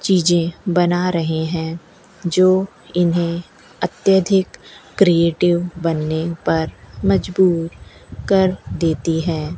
चीजें बना रहे हैं जो इन्हें अत्यधिक क्रिएटिव बनने पर मजबूर कर देतीं हैं।